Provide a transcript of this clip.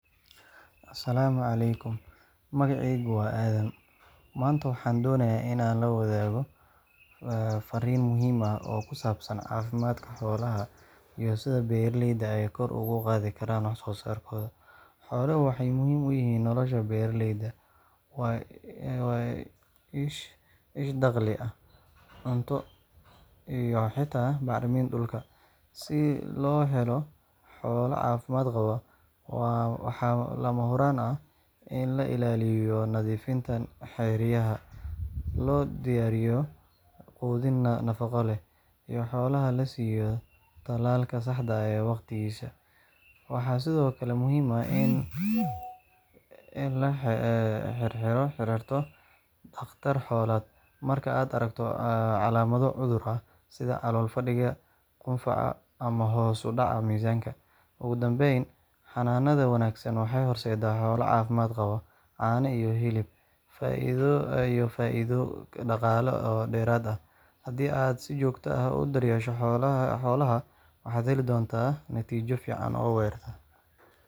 salaamu calaykum. Magacaygu waaadam, maanta waxaan doonayaa inaan la wadaago farriin muhiim ah oo ku saabsan caafimaadka xoolaha iyo sida beeraleyda ay kor ugu qaadi karaan wax-soo-saarkooda. Xooluhu waxay muhiim u yihiin nolosha beeraleyda—waa isha dakhli, cunto, iyo xitaa bacriminta dhulka. Si loo helo xoolo caafimaad qaba, waxaa lama huraan ah in la ilaaliyo nadiifnimada xeryaha, loo diyaariyo quudin nafaqo leh, iyo in xoolaha la siiyo tallaalka saxda ah waqtigiisa. Waxaa sidoo kale muhiim ah in aad la xiriirto dhakhtar xoolaad marka aad aragto calaamado cudur ah sida calool-fadhiga, hunqaaca, ama hoos u dhac miisaan. Ugu dambeyn, xanaanada wanaagsan waxay horseedaysaa xoolo caafimaad qaba, caano iyo hilib badan, iyo faa’iido dhaqaale oo dheeraad ah. Haddii aad si joogto ah u daryeesho xoolahaaga, waxaad heli doontaa natiijo fiican oo waarta. Waad mahadsan tahay, fadlan la wadaag fariintan si ay beeraleyda kale uga faa’iidaystaan.